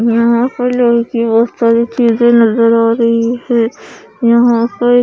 यहां पर बहुत सारी चीजें नजर आ रही है यहां पर--